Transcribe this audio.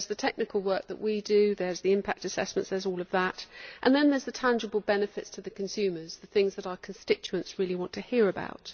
There is the technical work that we do, there are the impact assessments there is all of that and then there are the tangible benefits to consumers the things that our constituents really want to hear about.